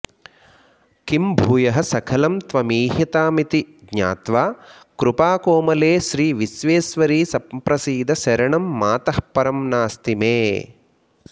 किं भूयः सकलं त्वमीहितमिति ज्ञात्वा कृपाकोमले श्रीविश्वेश्वरि सम्प्रसीद शरणं मातः परं नास्ति मे